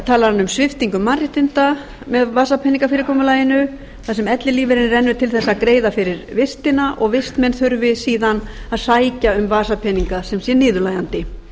talar um sviptingu mannréttinda með vasapeningafyrirkomulaginu þar sem ellilífeyririnn rennur til að greiða fyrir vistina og vistmenn þurfi síðan að sækja um vasapeninga sem sé niðurlægjandi